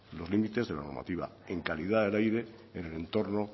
los límites de la normativa en calidad del aire en el entorno